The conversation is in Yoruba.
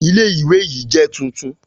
Ilé Ilé ìwé yìí jẹ́ tuntun